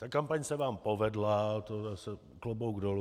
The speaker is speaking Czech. Ta kampaň se vám povedla, to zase klobouk dolů.